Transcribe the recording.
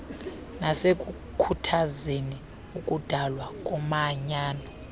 nasekukhuthazeni ukudalwa komanyano